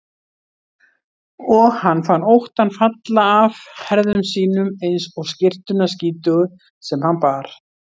Og hann fann óttann falla af herðum sínum eins og skyrtuna skítugu sem hann bar.